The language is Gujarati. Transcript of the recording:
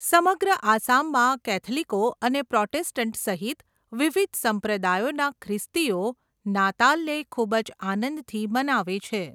સમગ્ર આસામમાં કૅથલિકો અને પ્રોટેસ્ટંટ સહિત વિવિધ સંપ્રદાયોના ખ્રિસ્તીઓ નાતાલને ખૂબ જ આનંદથી મનાવે છે.